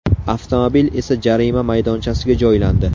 Avtomobil esa jarima maydonchasiga joylandi.